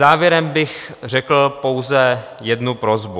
Závěrem bych řekl pouze jednu prosbu.